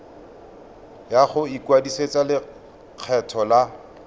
ya go ikwadisetsa lekgetho la